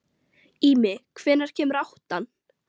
Ími, hvenær kemur áttan?